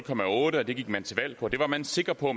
otte og det gik man til valg på det var man sikker på